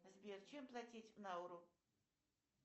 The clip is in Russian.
сбер чем платить в науру